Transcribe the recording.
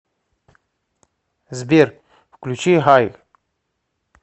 сбер включи хай